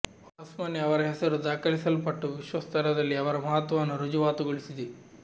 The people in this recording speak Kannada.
ಹೊಸ್ಮನೆ ಅವರ ಹೆಸರು ದಾಖಲಿಸಲ್ಪಟ್ಟು ವಿಶ್ವ ಸ್ತರದಲ್ಲಿ ಅವರ ಮಹತ್ವವನ್ನು ಋಜುವಾತುಗೊಳಿಸಿದೆ